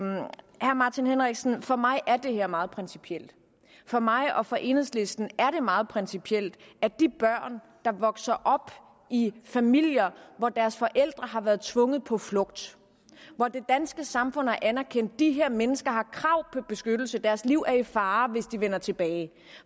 martin henriksen om for mig er det her meget principielt for mig og for enhedslisten er det meget principielt at de børn der vokser op i familier hvor deres forældre har været tvunget på flugt og det danske samfund har anerkendt at de her mennesker har krav på beskyttelse deres liv er i fare hvis de vender tilbage